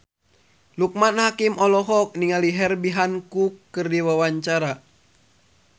Loekman Hakim olohok ningali Herbie Hancock keur diwawancara